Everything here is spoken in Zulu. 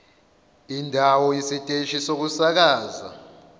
indawo isiteshi sokusakaza